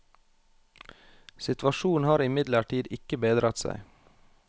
Situasjonen har imidlertid ikke bedret seg.